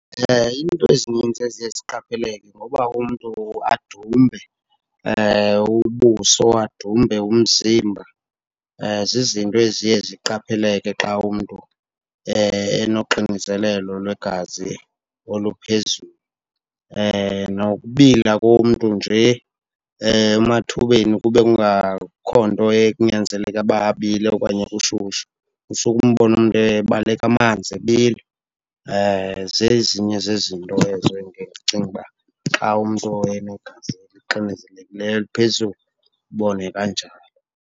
Iinto ezinintsi eziye ziqapheleke ngoba umntu adumbe ubuso, adumbe umzimba zizinto eziye ziqapheleke xa umntu enoxinzelelo lwegazi oluphezulu. Nokubila komntu nje emathubeni kube kungakho nto enyazeleke uba abile okanye kushushu, usuke umbone umntu ebaleka amanzi, ebila. Zezinye zezinto ezo endiye ndicinge uba xa umntu enegazi elixinzelekileyo, eliphezulu, ubone kanjalo